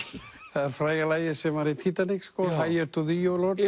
það er fræga lagið sem var í sko higher to Thee o lord